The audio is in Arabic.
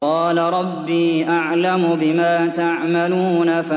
قَالَ رَبِّي أَعْلَمُ بِمَا تَعْمَلُونَ